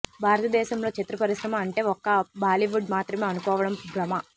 భారత దేశంలో చిత్రపరిశ్రమ అంటే ఒక్క బాలీవుడ్ మాత్రమే అనుకోవడం భ్రమ